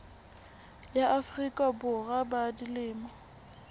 ya afrika borwa ba dilemo